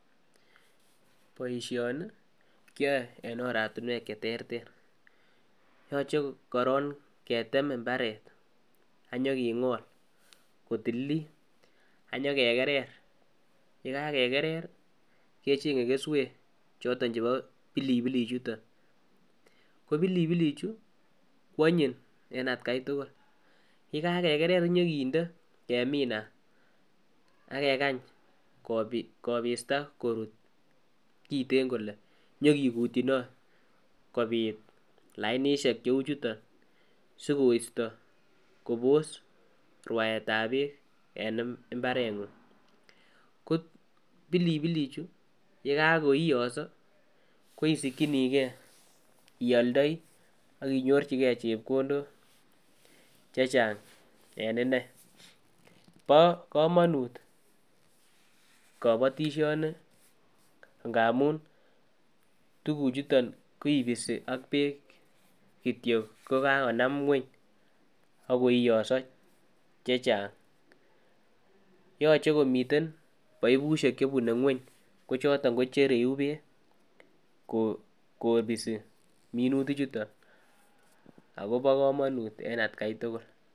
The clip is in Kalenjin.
Boishoni kiyoe en oratinwek cheterter yoche korong ketem imbaret ak nyokingol kotililit ak nyokekerer, yekakeker rii kechenge kesuek chebo pilipilik chuton ko pilipilik chuu kwonyin en atgai tukul yekakeker kenyo kinde keminat ak kekany kopista korut kiten kole nyokikutyinot kopit lainishek cheu chuton sikoisto Kobos ruaetab beek en imbarenguny ko pilipilik chuu yekokoiyoso ko isikinii gee ioldoi ak inyorchigee chepkondok chechang en inei bo komonut kobotishoni ngamun tukuk chuton kipisi ak beek kityok kokakonam ngueny ak koiyoiso che Chang. Yoche komiten baibushek chebune ngwony ko choton ko chereu beek kopisi minutik chuton akobo komonut en atgai tukul.